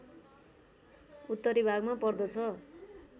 उत्तरी भागमा पर्दछ